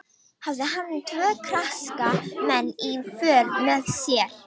Hafði hann tvo karska menn í för með sér.